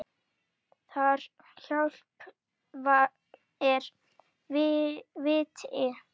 Þar hjá er viti.